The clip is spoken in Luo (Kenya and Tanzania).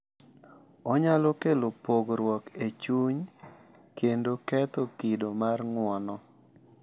Onyalo kelo pogruok e chuny kendo ketho kido mar ng’uono.